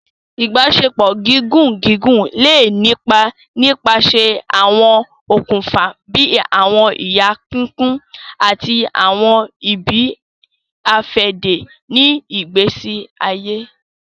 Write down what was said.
Ibaṣepọ gígùn gígùn le ni ipá nipasẹ awọn òkùnfà bíi awọn iye pínpín ati awọn ibi-afẹde ni ìgbésí ayé.